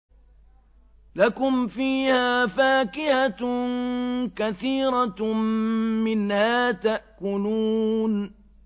لَكُمْ فِيهَا فَاكِهَةٌ كَثِيرَةٌ مِّنْهَا تَأْكُلُونَ